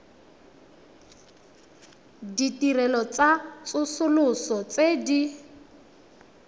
ditirelo tsa tsosoloso tse di